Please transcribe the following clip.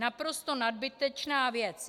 Naprosto nadbytečná věc.